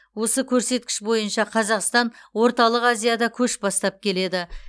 осы көрсеткіш бойынша қазақстан орталық азияда көш бастап келеді